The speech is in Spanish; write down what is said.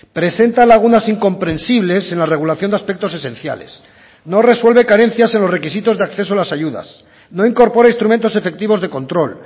presenta lagunas incomprensibles en la regulación de aspectos esenciales no resuelve carencias en los requisitos de acceso a las ayudas no incorpora instrumentos efectivos de control